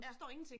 Ja